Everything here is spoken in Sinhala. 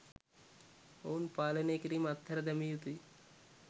ඔවුන් පාලනය කිරීම අත්හැර දැමිය යුතුයි.